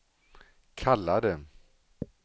kallade